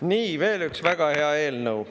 Nii, veel üks väga hea eelnõu.